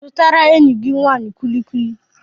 Zụtara enyi gị nwanyị kullikuli.